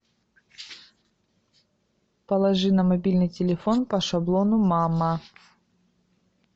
положи на мобильный телефон по шаблону мама